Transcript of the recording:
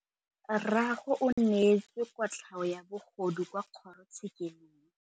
Rragwe o neetswe kotlhaô ya bogodu kwa kgoro tshêkêlông.